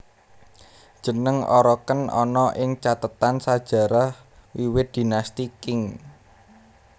Jeneng oroqen ana ing cathetan sajarah wiwit Dinasti Qing